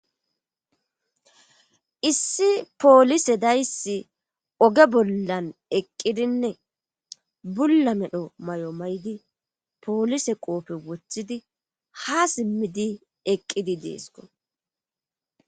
issi poolise dayssi oge bollan eqqidinne bulla medho may7o maydi poolise qoofe woththidi ha simmidi eqqidi deesko